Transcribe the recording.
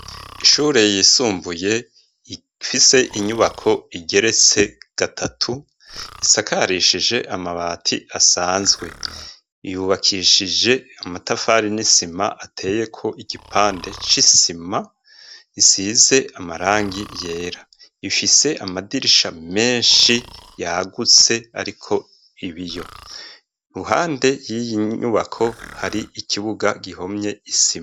Ishure yisumbuye ifise inyubako igeretse gatatu isakarishije amabati asanzwe, yubakishije amatafari n'isima ateyeko igipande c'isima isize amarangi yera, ifise amadirisha menshi yagutse ariko ibiyo, iruhande y'iyi nyubako hari ikibuga gihomye isima.